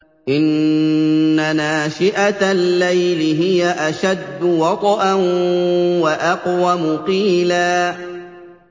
إِنَّ نَاشِئَةَ اللَّيْلِ هِيَ أَشَدُّ وَطْئًا وَأَقْوَمُ قِيلًا